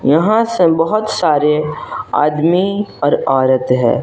यहां से बहुत सारे आदमी और औरत है।